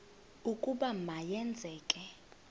ukuba ma yenzeke